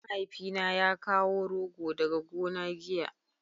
mahaifi na ya kawo rogo daga gona giya